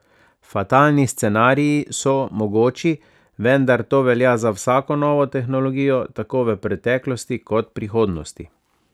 Fatalni scenariji so mogoči, vendar to velja za vsako novo tehnologijo, tako v preteklosti kot prihodnosti.